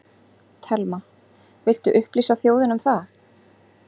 Telma: Viltu upplýsa þjóðina um það?